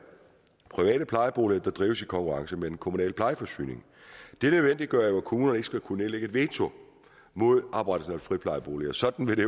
private plejeboliger der drives i konkurrence med den kommunale plejeforsyning det nødvendiggør jo at kommunerne ikke skal kunne nedlægge veto mod oprettelsen af friplejeboliger sådan ville